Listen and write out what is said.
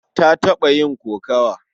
Ta taɓa yin kokawa.